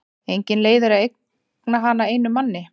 Engin leið er að eigna hana einum manni.